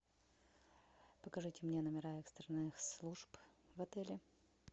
покажите мне номера экстренных служб в отеле